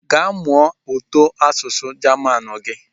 Gaa mụọ ụtọasụsụ Jamanu gị!